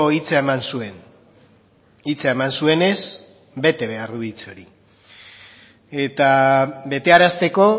hitza eman zuen hitza eman zuenez bete behar du hitz hori eta betearazteko